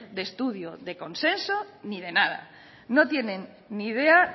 de estudio de consenso ni de nada no tienen ni idea